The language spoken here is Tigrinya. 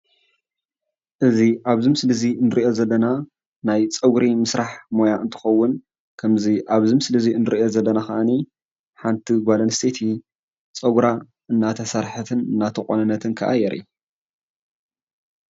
እዚ አብዚ ምስሊ እንሪኦ ዘለና ናይ ፀጉሪ ምስራሕ ሞያ እንትከውን ከምዚ አብቲ ምስሊእንሪኦ ዘለና ሓንቲ ጓል አንስተይቲ ፀጉራ እናተሰርሓትን እናተቆነነትን የርእይ፡፡